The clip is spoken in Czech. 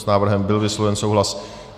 S návrhem byl vysloven souhlas.